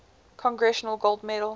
congressional gold medal